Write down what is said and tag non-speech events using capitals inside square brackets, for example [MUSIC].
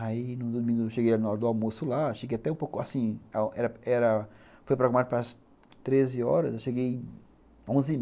Aí, no domingo, eu cheguei na hora do almoço lá, eu cheguei até um pouco, assim, era era, foi programado para às treze horas, eu cheguei onze [UNINTELLIGIBLE]